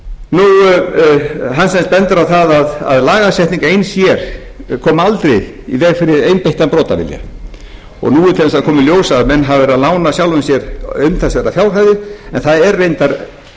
að hann bendir á það að lagasetning ein sér komi aldrei í veg fyrir einbeittan brotavilja og nú er til dæmis að koma í ljós að menn hafa verið að lána sjálfum sér umtalsverðar fjárhæðir en það er reyndar merkilegt nokk